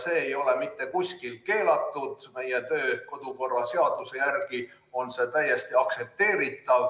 See ei ole mitte kuskil keelatud, meie kodu- ja töökorra seaduse järgi on see täiesti aktsepteeritav.